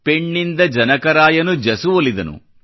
ಪೆಣ್ಣಿಂದ ಜನಕರಾಯನು ಜಸುವೊಲಿದನು